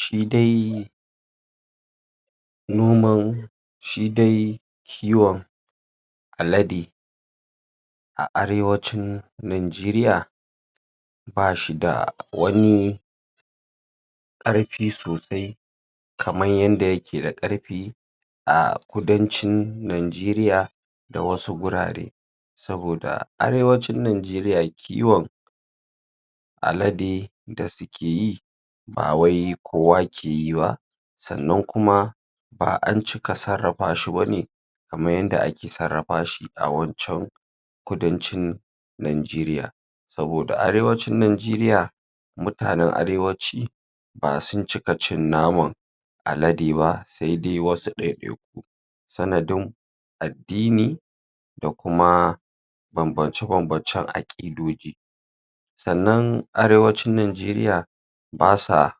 shidai nomau shidai kiwan alade a arewacin nigeria bashida wani ƙarfi sosai kaman yanda yakeda karfe a kudancin nigeria dawasu gurare saboda arewacin nigeria kiwan alade dasuki ye bawai kowakiye ba sannan kuma ba ancika sarafashi bane kaman yanda ake sarafashi awancan kudancin nigeria saboda arewacin nigeria mutane arewaci basun cika cin naman alade ba saidai wasu ɗadɗai ku sanadin addini da kuma babbance babbance akidoji sannan arewacin nigeria basa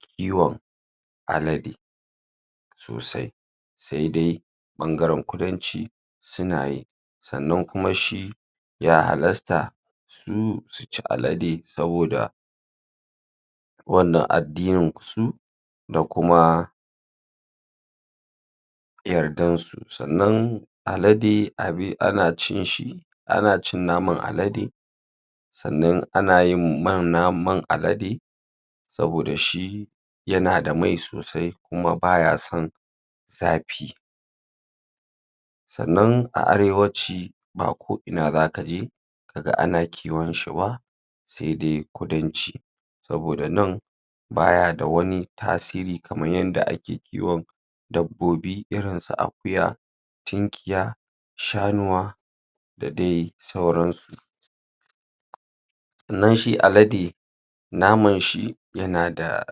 kiwan alade sosai daidai ɓangaran kudanci sunaye sannan kuma shi ya halasta su suci alade saboda wannan adini su dakuma yardansu sannan alade abi anacinshi anacin naman alade sannan anyin mana man alade saboda shi yanada mai sosai kuma bayasan zafi sannan a arewaci ba ko ina zakaje kaga ana kiwanshi ba saidai kudanci saboda nan[ bayada wanani tasiri kamanyanda ake kiwan dabbobi irin su akuya tinliya shanuwa dadai sauransu nan shi alade namanshi yanada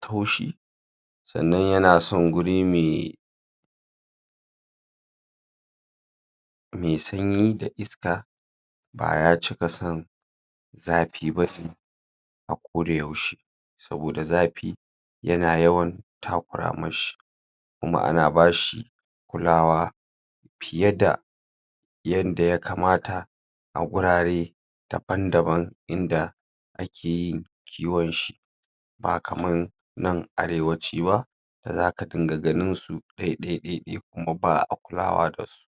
taushi sannan yanasan guri mai mai sanyi da iska baya cikasan zafi bashi akoda yaushe saboda zafi yana yawan takura mashi kuma ana bashi kulawa fiyeda yanda yakamata a gurare daban daban inda akeyin kiwanshi ba kaman nan arewaci ba dazaka dinga ganisu ɗai ɗai ɗai kuma ba a kulawa dasu